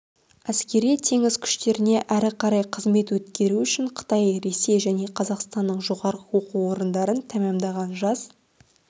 әскери-теңіз күштеріне әрі қарай қызмет өткеру үшін қытай ресей және қазақстанның жоғары оқу орындарын тәмамдаған жас